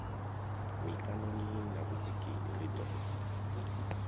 mikaṋoni na vhudziki ri ḓo